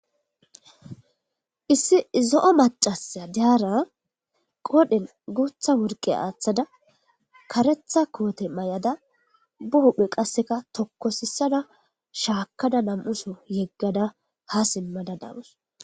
Issi zo'o macashi daara qoodhe guutha worse aathada karetha koote mayada ba hu'e qase tokosisada shakada nam'u so yegada ha dumasa daws.